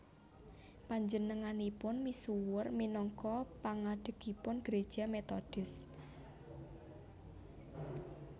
Panjenenganipun misuwur minangka pangadhegipun Gereja Metodis